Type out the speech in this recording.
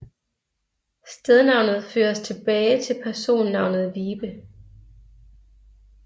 Stednavnet føres tilbage til personnavnet Wibe